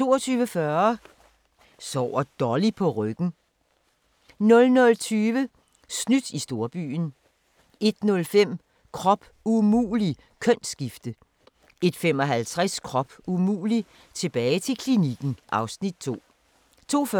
22:40: Sover Dolly på ryggen? 00:20: Snydt i storbyen 01:05: Krop umulig - kønsskifte 01:55: Krop umulig - tilbage til klinikken (Afs. 2) 02:40: